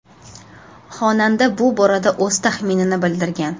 Xonanda bu borada o‘z taxminini bildirgan.